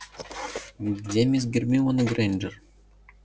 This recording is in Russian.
где мисс гермиона грэйнджер